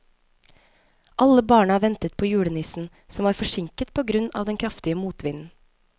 Alle barna ventet på julenissen, som var forsinket på grunn av den kraftige motvinden.